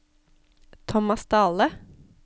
Tomas Dahle